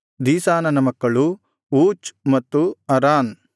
ದೀಶಾನನ ಮಕ್ಕಳು ಊಚ್ ಮತ್ತು ಅರಾನ್